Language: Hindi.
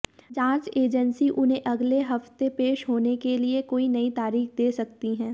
जांच एजेंसी उन्हें अगले हफ्ते पेश होने के लिए कोई नई तारीख दे सकती है